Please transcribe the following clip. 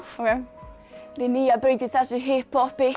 ryð nýja braut í þessu hipp hoppi